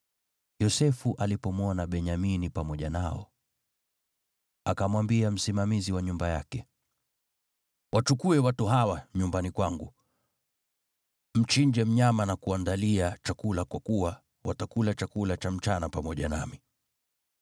Yosefu alipomwona Benyamini pamoja nao, akamwambia msimamizi wa nyumba yake, “Wachukue watu hawa nyumbani kwangu, mchinje mnyama na kuandalia chakula kwa kuwa watakula chakula cha mchana pamoja nami.”